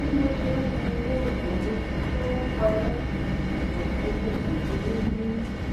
bí mo ṣe ń wo owó oṣù mi tí ó ń parẹ kò sí bí n kò ṣe ní bínú